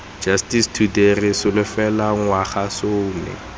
justice today re solofela ngwagasome